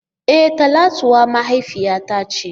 E! Talatuwa mahaifiyata ce.